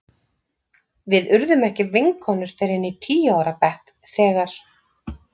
Við urðum ekki vinkonur fyrr en í tíu ára bekk þegar